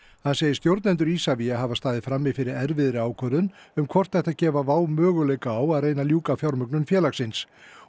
hann segir stjórnendur Isavia hafa staðið frammi fyrir erfiðri ákvörðun um hvort ætti að gefa WOW möguleika á að reyna að ljúka fjármögnun félagsins